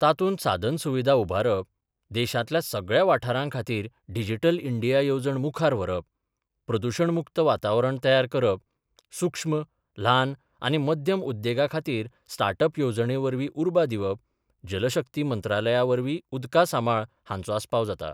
तातुंत सादनसुविधा उभारप, देशांतल्या सगळ्या वाठारांखातीर डिजीटल इंडिया येवजण मुखार व्हरप, प्रदूषण मुक्त वातावरण तयार करप, सुक्ष्म, ल्हान आनी मध्यम उद्देगाखातीर स्टाटअप येवजणेवरवी उर्बा दिवप जलशक्ती मंत्रालयावरवी उदकासामाळ हांचो आसपाव जाता.